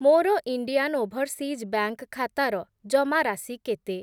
ମୋର Indian overseas bank ଖାତାର ଜମାରାଶି କେତେ?